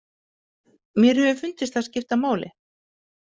Mér hefur fundist það skipta máli.